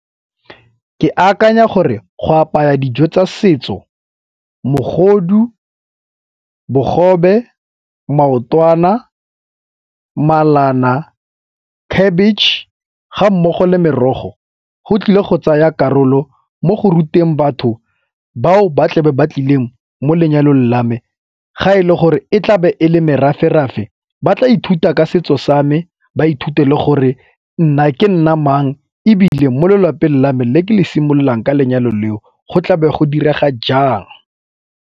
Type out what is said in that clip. Ke akanya gore go apaya dijo tsa setso mogodu, bogobe, maotwana, malana, khabitšhe ga mmogo le merogo go tlile go tsaya karolo mo go ruteng batho bao ba tlebe ba tlileng mo lenyalong la me. Ga e le gore e tlabe e le merafe-rafe ba tla ithuta ka setso sa me, ba ithute le gore nna ke nna mang ebile mo lelapeng la me le ke le simololang ka lenyalo leo go tlabe ya go direga jang.